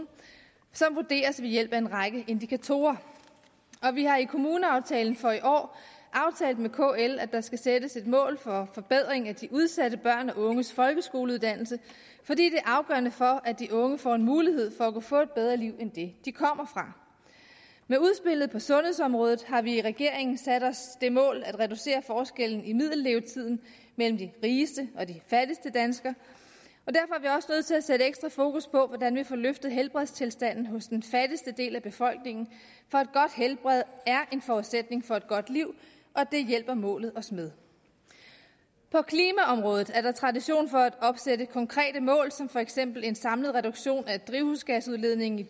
som vurderes ved hjælp af en række indikatorer og vi har i kommuneaftalen for i år aftalt med kl at der skal sættes et mål for forbedring af de udsatte børns og unges folkeskoleuddannelse fordi det er afgørende for at de unge får en mulighed for at kunne få et bedre liv end det de kommer fra med udspillet på sundhedsområdet har vi i regeringen sat os det mål at reducere forskellen i middellevetiden mellem de rigeste og de fattigste danskere og til at sætte ekstra fokus på hvordan vi får løftet helbredstilstanden hos den fattigste del af befolkningen for et godt helbred er en forudsætning for et godt liv og det hjælper målet os med på klimaområdet er der tradition for at opsætte konkrete mål som for eksempel en samlet reduktion af drivhusgasudledningen i